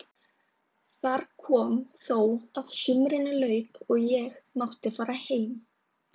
Þar kom þó að sumrinu lauk og ég mátti fara heim.